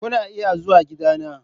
Kuna iya zuwa gidana.